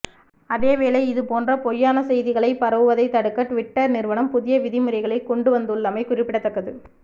அதேவேளை இது போன்ற பொய்யான செய்திகள் பரவுவதை தடுக்க டுவிட்டர் நிறுவனம் புதிய விதிமுறைகளை கொண்டுவந்துள்ளமை குறிப்பிடத்தக்கது